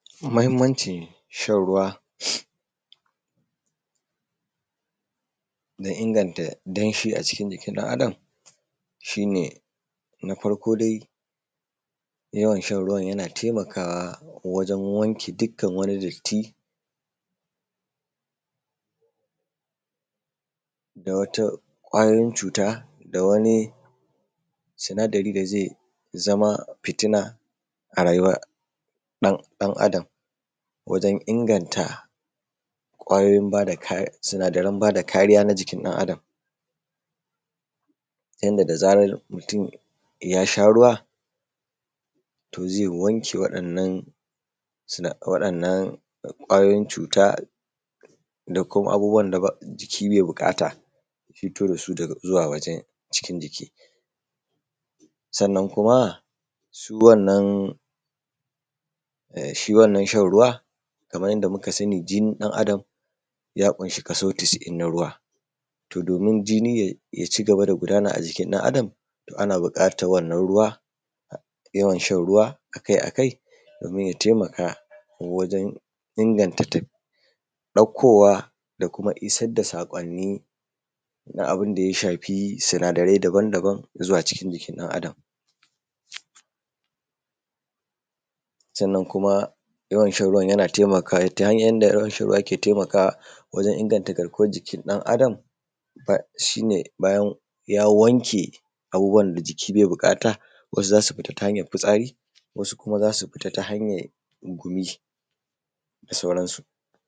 Mahinmancin shan ruwa, na inganta danshi a cikin jikin ɗan Adam shi ne na farko dai yawan san ruwan yana taimakawa wajen wanke dukkan wani datti na wata kwayoyin cuta da wani sinadari da ze zama fitina a rayuwar ɗan Adam. Wajen inganta ƙwayoyin sinadaran ba da kariya na jikin ɗan Adam wanda da zaran mutum ya sha ruwa tofa ze wanke waɗannan sinadaran ƙwayoyin cuta da kuma abubuwan da jiki bai buƙata ya fito da su daga zuwaa wajen jiki. Sannan kuma su wanan shi wannan shan ruwa kaman yadda muka sani jikin ɗan Adam ya ƙunshi kaso casa’in na ruwa domin jini ya cigaba da gudana a jikin ɗan Adam ana buƙatan wannan ruwa, yawan shan ruwa akai-akai domin yana taimakawa wajen inganta ɗaukowa da isar da saƙonni na abun da ya shafi sinadarai daban-daban na zuwa jikin ɗan Adam, sannan kuma yawan shan ruwan yana taimakawa kaman yadda shan ruwa yake taimakawa wajen inganta garkuwan jikin ɗan Adam shi ne bayan ya wanke abubuwan da jiki ke buƙata, wasu za su fita ta hanyan fitsari, wasu kuma za su fita ta hanyan gumi da sauransu.